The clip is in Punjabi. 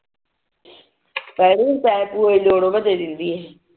ਪੈਸੇ ਪੁਸਏ ਜੋੜੋ ਜਲਦੀ ਜਲਦੀ